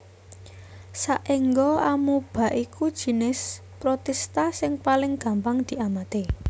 Saéngga Amoeba iku jinis Protista sing paling gampang diamati